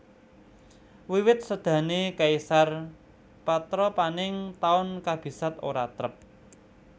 Wiwit sédané Caesar patrapaning taun kabisat ora trep